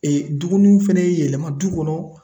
dumuni fɛnɛ yɛlɛma du kɔnɔ.